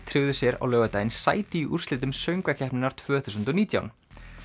tryggðu sér á laugardaginn sæti í úrslitum söngvakeppninnar tvö þúsund og nítján